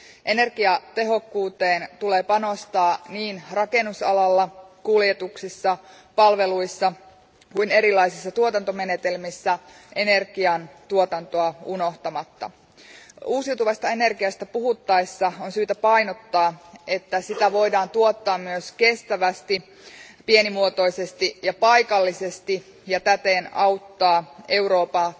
Energiatehokkuuteen tulee panostaa niin rakennusalalla, kuljetuksissa, palveluissa kuin erilaisissa tuotantomenetelmissä, energian tuotantoa unohtamatta. Uusiutuvasta energiasta puhuttaessa on syytä painottaa, että sitä voidaan tuottaa myös kestävästi, pienimuotoisesti ja paikallisesti ja täten auttaa Eurooppaa